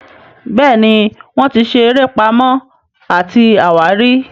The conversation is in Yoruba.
Béèni wón tí ṣe eré Pàmò àti àwárí.